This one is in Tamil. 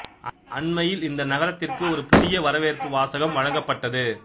அண்மையில் இந்த நகரத்திற்கு ஒரு புதிய வரவேற்பு வாசகம் வழங்கப்பட்டது